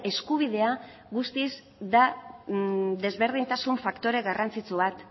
eskubidea guztiz da desberdintasun faktore garrantzitsu bat